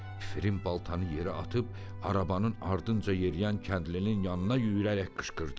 Fəririn baltanı yerə atıb arabanın ardınca yeriyən kəndlinin yanına yüyrərək qışqırdı.